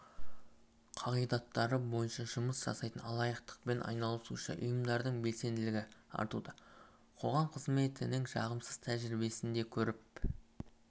қағидаттары бойынша жұмыс жасайтын алаяқтықпен айналысушы ұйымдардың белсенділігі артуда қоғам қызметінің жағымсыз тәжірибесін де көріп